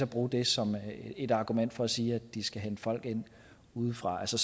bruge det som et argument for at sige at de skal hente folk ind udefra altså